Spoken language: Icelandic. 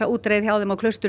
útreiðina á Klaustri